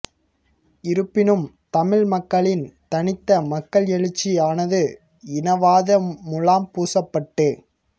இருப்பினும் தமிழ் மக்களின் தனித்த மக்கள் எழுச்சி ஆனது இனவாத முலாம் பூசப் பட்டு